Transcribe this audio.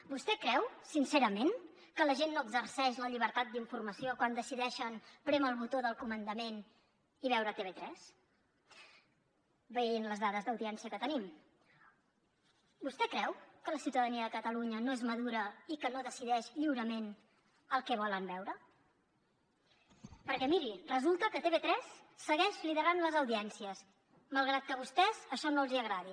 vostè creu sincerament que la gent no exerceix la llibertat d’informació quan decideixen prémer el botó del comandament i veure tv3 veient les dades d’audiència que tenim vostè creu que la ciutadania de catalunya no és madura i que no decideix lliurement el que volen veure perquè miri resulta que tv3 segueix liderant les audiències malgrat que a vostès això no els agradi